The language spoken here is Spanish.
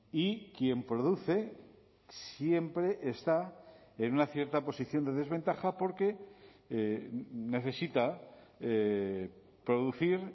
y quien produce siempre está en una cierta posición de desventaja porque necesita producir